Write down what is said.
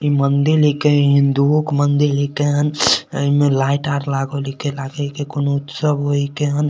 इ मंदिल हीके हिन्दूओ के मंदिल ही केन एमे लाइट आर लागल हीके लागे छै कोनो उत्सव हिके।